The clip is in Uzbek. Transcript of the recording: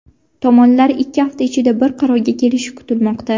Tomonlar ikki hafta ichida bir qarorga kelishi kutilmoqda.